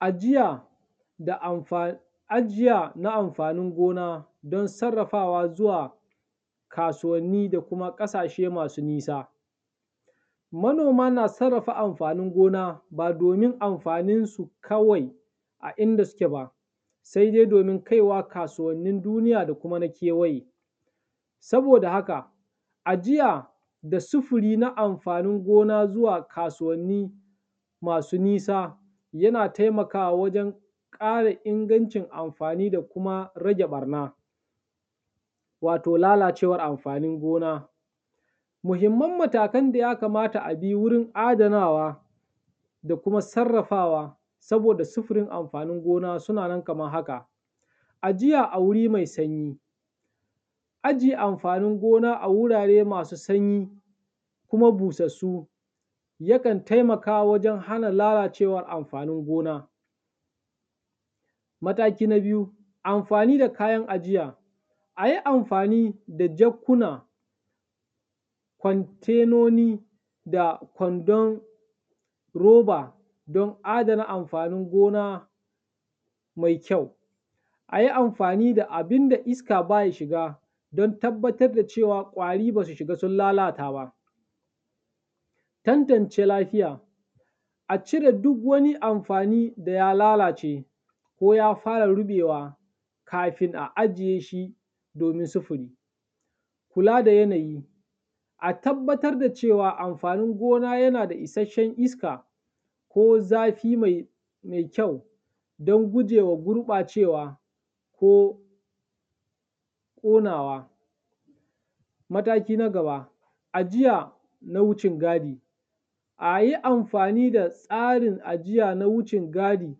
Ajiya da amfa, ajiya na amfanin gona don sarrafawa zuwa kasuwanni da kuma ƙasashe masu nisa. Manoma na sarrafa amfanin gona ba domin amfaninsu kawai a inda suke ba, sai dai domin kaiwa kasuwannin duniya da kuma na kewaye. Saboda haka, ajiya da sufuri na amfanin gona zuwa kasuwanni masu nisa yana taimakawa wajen ƙara ingancin amfani da kuma rage ɓarna, wato lalacewar amfanin gona. Muhimman matakan da ya kamata a bi wurin adanawa da kuma sarrafawa saboda sufurin amfanin gona suna nan kamar haka; ajiya a wuri mai sanyi, ajiye amfanin gona a wurare masu sanyi kuma busassu yakan taimaka wajen hana lalacewar amfanin gona. Mataki na biyu, amfani da kayan ajiya; a yi amfani da jakkuna, kwantainoni da kwandon roba don adana amfanin gona mai kyau. A yi amfani da abin da iska baya shiga don tabbatar da cewa ƙwari ba su shiga sun lalata ba. Tantance lafiya; a cire duk wani amfani da ya lalace ko ya fara ruɓewa kafin a ajiye shi domin sufuri. Kula da yanayi; a tabbatar da cewa amfanin gona yana da isasshen iska ko zafi mai kyau don gujewa gurɓacewa ko ƙonawa. Mataki na gaba, ajiya na wucin gadi; a yi amfani da tsarin ajiya na wucin gadi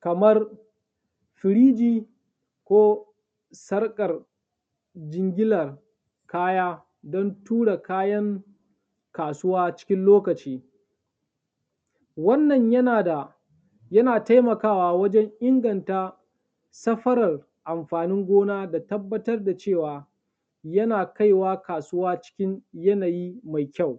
kamar firiji ko sarƙar jingilar kaya don tura kayan kasuwa na cikin lokaci. Wannan yana da, yana taimakawa wajen inganta safarar amfanin gona da tabbatar da cewa yana kaiwa kasuwa cikin yanayi mai kyau.